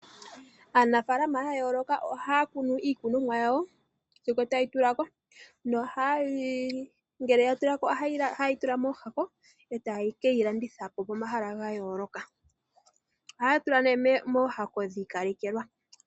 Aanafaalama ya yooloka ohaya kunu iikunomwa yawo sigo tayi tula ko, ngele ya tula ko ohaye yi tula mooshako eta keyi landitha po pomahala ga yooloka. Ohaya tula nee mooshako dhi ikalekelwa.